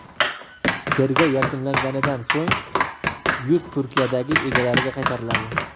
Tergov yakunlanganidan so‘ng yuk Turkiyadagi egalariga qaytariladi.